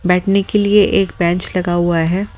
बैठने के लिए एक बेंच लगा हुआ है।